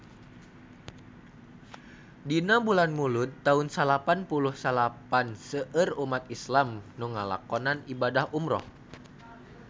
Dina bulan Mulud taun salapan puluh salapan seueur umat islam nu ngalakonan ibadah umrah